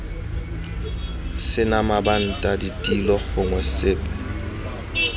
sena mabanta ditilo gongwe sepe